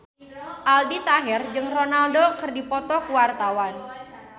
Aldi Taher jeung Ronaldo keur dipoto ku wartawan